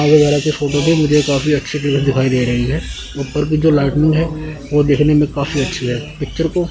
आगे बड़ा सी फोटो वीडियो काफ़ी अच्छी दी दिखाई दे रही है ऊपर भी दो लाइटनिंग है वो देखने में काफी अच्छी है पिक्चर को--